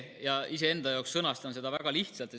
Iseenda jaoks sõnastan seda väga lihtsalt.